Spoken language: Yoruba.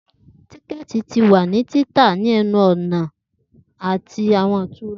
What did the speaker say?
Tiketi ti wa ni tita ni ẹnu-ọna ti awọn itura.